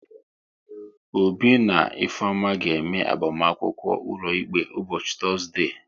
Obi na Ifeoma ga-eme agbamakwụkwọ ụlọikpe ụbọchị Tọzdee